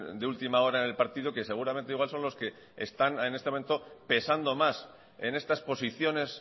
de ultima hora en el partido que seguramente igual son los que están en este momento pesando más en estas posiciones